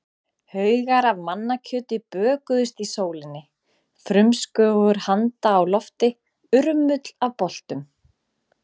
Haugar af mannakjöti bökuðust í sólinni, frumskógur handa á lofti, urmull af boltum.